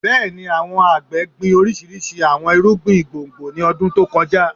Bẹẹni, awọn agbe gbin oriṣiriṣi awọn irugbin gbongbo ni ọdun to kọja